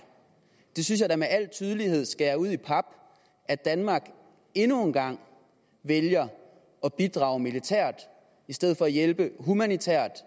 det synes jeg da med al tydelighed skærer ud i pap at danmark endnu en gang vælger at bidrage militært i stedet for at hjælpe humanitært